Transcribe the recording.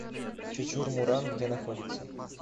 чочур муран где находится